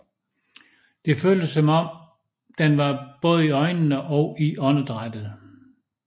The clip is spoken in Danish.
Den føltes som om den var både i øjnene og i åndedrættet